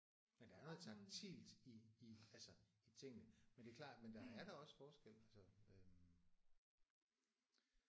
Men der er noget taktilt i i altså i tingene men det er klart men der er da også forskel altså øh